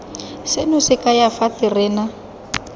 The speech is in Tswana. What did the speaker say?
seno se kaya fa terena